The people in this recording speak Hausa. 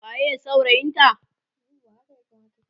waye saurayin ta?